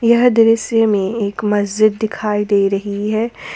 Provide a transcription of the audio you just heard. यह दृश्य में एक मस्जिद दिखाई दे रही है।